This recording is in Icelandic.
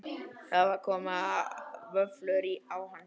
Það koma vöflur á hana.